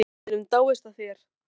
Enginn hér á vellinum dáist að þér.